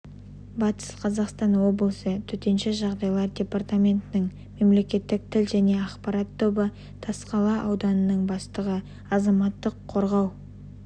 батыс қазақстан облысы төтенше жағдайлар департаментінің мемлекеттік тіл және ақпарат тобы тасқала ауданынң бастығы азаматтық қорғау